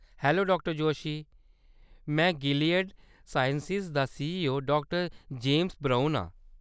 Hello डा जोशी। में Gilead Sciences दा सीईओ डा जेम्स ब्राउन आं।